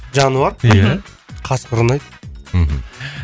жануар ия мхм қасқыр ұнайды мхм